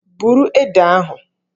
Buru Ede ahụ!